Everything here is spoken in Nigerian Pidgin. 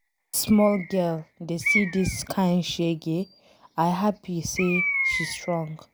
Dis small girl dey see dis kin shege, I happy say she strong.